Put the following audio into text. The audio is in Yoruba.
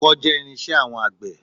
Ọkọ́ jẹ́ irin-iṣẹ́ àwọn àgbẹ̀